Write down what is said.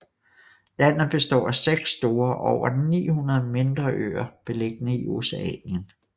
Landet består af seks store og over 900 mindre øer beliggende i Oceanien